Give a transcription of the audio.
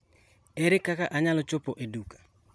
Ere kaka anyalo chopo e duka?